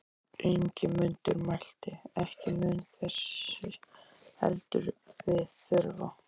Ingimundur mælti: Ekki mun þess heldur við þurfa.